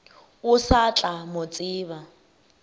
o sa tla mo tseba